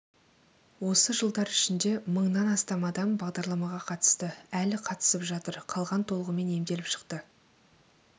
осы жылдар ішінде мыңнан астам адам бағдарламаға қатысты әлі қатысып жатыр қалған толығымен емделіп шықты